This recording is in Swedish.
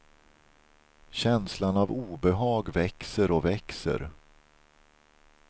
Känslan av obehag växer och växer.